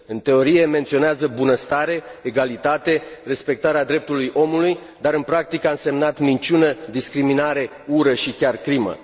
În teorie menționează bunăstare, egalitate, respectarea drepturilor omului, dar în practică a însemnat minciună, discriminare, ură și chiar crimă.